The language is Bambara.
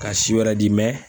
Ka si wɛrɛ di